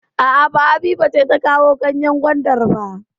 A'a, ba Habiba ce ta kawo ganyen gwandar ba.